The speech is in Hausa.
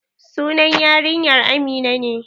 Sunan yarinyar amina ne.